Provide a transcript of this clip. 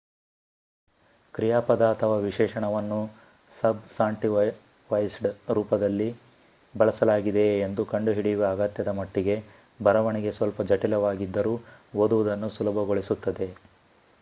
ಕ್ರಿಯಾಪದ ಅಥವಾ ವಿಶೇಷಣವನ್ನು ಸಬ್‌ಸಾಂಟಿವೈಸ್ಡ್ ರೂಪದಲ್ಲಿ ಬಳಸಲಾಗಿದೆಯೆ ಎಂದು ಕಂಡುಹಿಡಿಯುವ ಅಗತ್ಯದ ಮಟ್ಟಿಗೆ ಬರವಣಿಗೆ ಸ್ವಲ್ಪ ಜಟಿಲವಾಗಿದ್ದರೂ ಓದುವುದನ್ನು ಸುಲಭಗೊಳಿಸುತ್ತದೆ